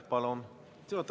Austatud juhataja!